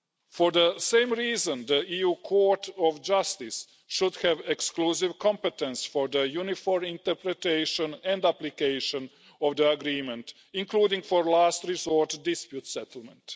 For the same reason, the EU Court of Justice should have exclusive competence for the uniform interpretation and application of the agreement, including for last resort dispute settlement.